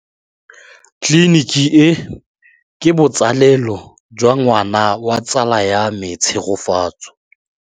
Tleliniki e, ke botsalêlô jwa ngwana wa tsala ya me Tshegofatso.